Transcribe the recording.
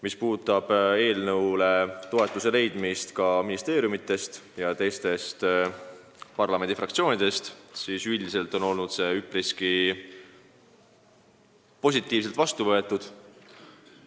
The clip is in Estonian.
Mis puudutab eelnõule toetuse leidmist ministeeriumidest ja parlamendi teistest fraktsioonidest, siis üldiselt on see üpriski positiivselt vastu võetud.